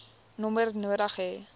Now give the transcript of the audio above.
nommer nodig hê